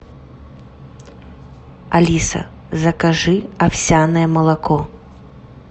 алиса закажи овсяное молоко